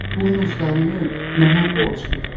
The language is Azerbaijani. Buynuzlarını mənə borc ver.